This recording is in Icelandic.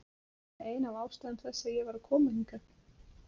Það er líka ein af ástæðum þess að ég er að koma hingað.